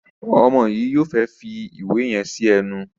Omo yi yóò fè fí ìwé yen sí ẹnu.